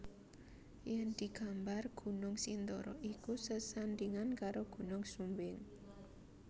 Yen digambar Gunung Sindoro iku sesandingan karo Gunung Sumbing